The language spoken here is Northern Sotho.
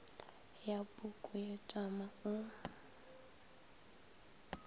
ya puku ye tšama o